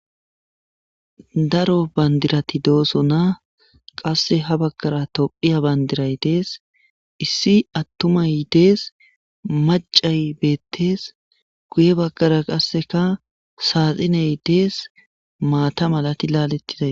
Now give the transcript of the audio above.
Daro bandirati dooso na qasse ha baggara tophiya bandiray dees issi attumaydees macay beettees guye baggara qasseka saaxiney dees maata malati laalettiday.